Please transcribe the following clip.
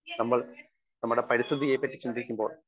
speaker 1 നമ്മൾ നമ്മുടെ പരിസ്ഥിതിയെ പറ്റി ചിന്തിക്കുമ്പോൾ